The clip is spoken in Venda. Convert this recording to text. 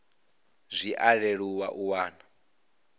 zwi a leluwa u wana